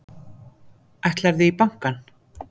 Ætlarðu í bankann?